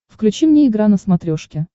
включи мне игра на смотрешке